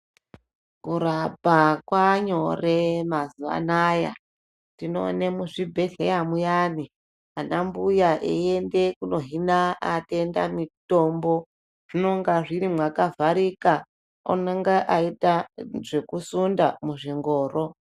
Kurapa kwava nyore mazuva ano aya tinoona muzvibhedhlera mayani anambuya eyienda kunohina varwere mutombo zvinonga zviri makavharika unoita eyiita zvekusunda muzvingoro.